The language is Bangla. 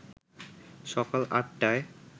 সকাল আটটায়